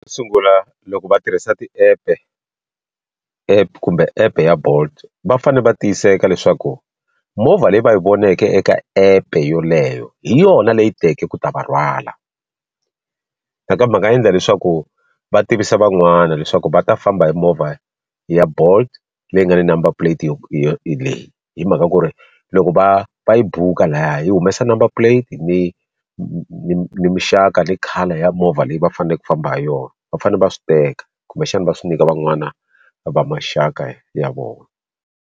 Sungula loko va tirhisa ti-app-e app-e kumbe app ya bolt va fanele va tiyiseka leswaku movha leyi va yi voneke eka epe yoleyo hi yona leyi teke ku ta va rhwala nakambe va nga endla leswaku va tivisa van'wana leswaku va ta famba hi movha ya bolt leyi nga ni number plate yo yo leyi hi mhaka ku ri loko va va yi bhuka laya yi humesa number plate ni ni ni mixaka ni colour ya movha leyi va fanele ku famba ha yona va fanele va swi teka kumbexana va swi nyika van'wana va maxaka ya vona.